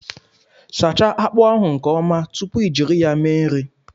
Sachaa akpu ahu nke Oma tupu I jiri ya mee nri